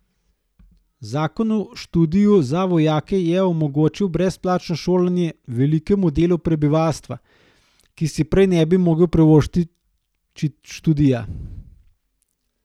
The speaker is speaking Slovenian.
Zakon o študiju za vojake je omogočil brezplačno šolanje velikemu delu prebivalstva, ki si prej ne bi mogel privoščiti študija.